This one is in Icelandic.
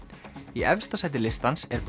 í efsta sæti listans er